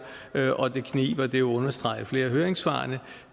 og det kniber det understreger flere af høringssvarene